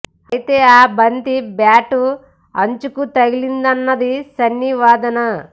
అయితే ఆ బంతి బ్యాటు అంచుకు తగిలిందన్నది సన్నీ వాదన